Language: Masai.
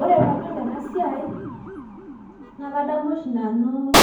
ore pee adol ena siai naa kadamu oshi nanu